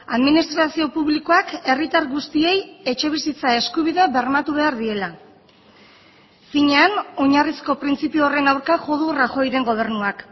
administrazio publikoak herritar guztiei etxebizitza eskubidea bermatu behar diela finean oinarrizko printzipio horren aurka jo du rajoyren gobernuak